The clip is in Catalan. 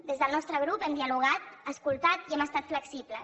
des del nostre grup hem dialogat escoltat i hem estat flexibles